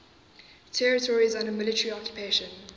territories under military occupation